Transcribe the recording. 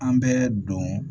An bɛ don